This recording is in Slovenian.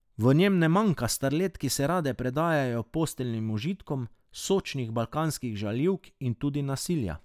V njem ne manjka starlet, ki se rade predajajo posteljnim užitkom, sočnih balkanskih žaljivk in tudi nasilja.